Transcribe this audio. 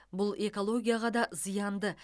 бұл экологияға да зиянды